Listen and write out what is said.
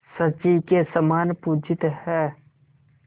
शची के समान पूजित हैं